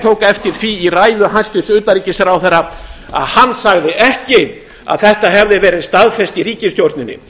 tók eftir því í ræðu hæstvirts utanríkisráðherra að hann sagði ekki að þetta hefði verið staðfest í ríkisstjórninni